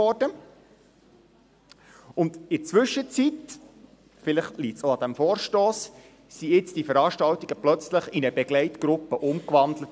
In der Zwischenzeit – vielleicht liegt es auch an diesem Vorstoss – wurden nun die Veranstaltungen plötzlich in eine Begleitgruppe umgewandelt.